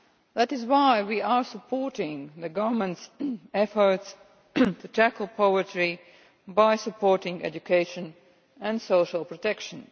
That is why we are supporting the government's efforts to tackle poverty by supporting education and social protection.